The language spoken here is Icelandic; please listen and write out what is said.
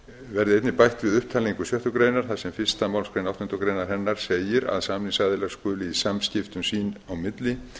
einnig bætt við upptalningu sjöttu grein þar sem fyrstu málsgrein áttundu grein hennar segir að samningsaðilar skuli í samskiptum sín á milli